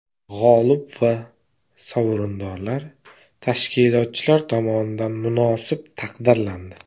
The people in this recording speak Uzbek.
G‘olib va sovrindorlar tashkilotchilar tomonidan munosib taqdirlandi.